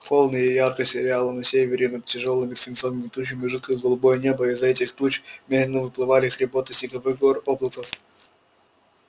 холодно и ярко сияло на севере над тяжёлыми свинцовыми тучами жидкое голубое небо а из-за этих туч медленно выплывали хребты снеговых гор-облаков